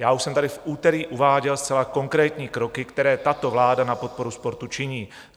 Já už jsem tady v úterý uváděl zcela konkrétní kroky, které tato vláda na podporu sportu činí.